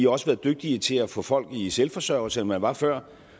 også været dygtigere til at få folk i selvforsørgelse end man var før